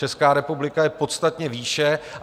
Česká republika je podstatně výše.